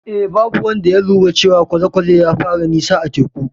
Eh, babu wanda ya lura cewa kwale-kwalen ya fara nisa zuwa teku.